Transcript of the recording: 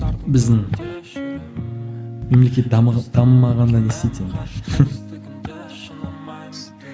біздің мемлекет дамымағанда не істейді енді